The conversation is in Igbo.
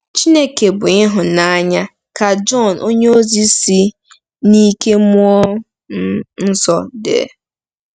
“Chineke bụ ịhụnanya,” ka Jọn onyeozi si n'ike mmụọ um nsọ dee.